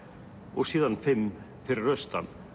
og síðan fimm fyrir austan